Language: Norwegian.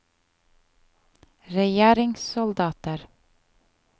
regjeringssoldater